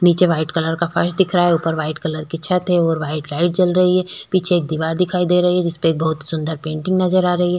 निचे white colour का फर्श दिख रहा हैऊपर वाइट कलर का छत हैं और वाइट लाइट जल रही है पीछे एक वाइट कलर का दिवार दिख रही है जिसमे बहुत सुन्दर पेंटिंग नज़र आ रही हैं।